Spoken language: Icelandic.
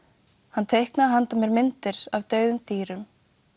hann teiknaði handa mér myndir af dauðum dýrum